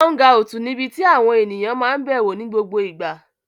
Áúngaùtì níbi tí ènìyàn máa n bẹ̀wò ní gbogbo ìgbà